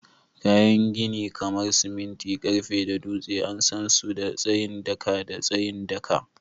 Kayan gini kamar siminti, karfe da dutse an san su da tsayin daka da tsayin daka